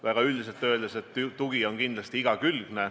Väga üldiselt öeldes, tugi on kindlasti igakülgne.